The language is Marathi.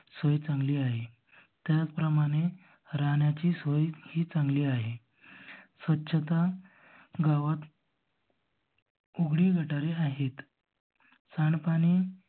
सोय चांगली आहे. त्याच प्रमाणे राहण्याची सोय ही चांगली आहे स्व स्वाचता गावात उघडी गटारे आहेत. घाण पाणी